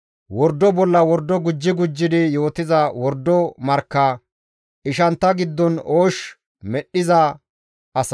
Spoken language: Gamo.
wordo bolla wordo gujji gujjidi yootiza wordo markka, ishantta giddon oosh medhdhiza asa.